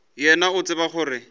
wena o a tseba gore